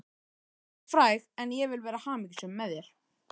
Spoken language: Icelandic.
Hún varð fræg en ég vil vera hamingjusöm, með þér.